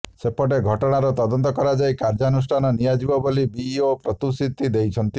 ସେପଟେ ଘଟଣାର ତଦନ୍ତ କରାଯାଇ କାର୍ଯ୍ୟାନୁଷ୍ଠାନ ନିଆଯିବ ବୋଲି ବିଇଓ ପ୍ରତିଶୃତି ଦେଇଛନ୍ତି